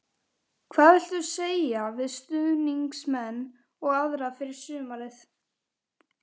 Hvað viltu segja við stuðningsmenn og aðra fyrir sumarið?